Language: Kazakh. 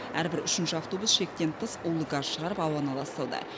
әрбір үшінші автобус шектен тыс улы газ шығарып ауаны ластауда